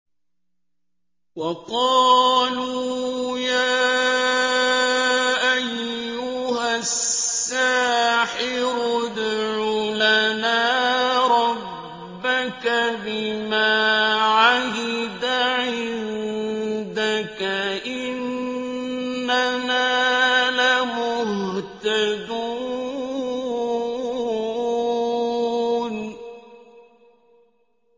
وَقَالُوا يَا أَيُّهَ السَّاحِرُ ادْعُ لَنَا رَبَّكَ بِمَا عَهِدَ عِندَكَ إِنَّنَا لَمُهْتَدُونَ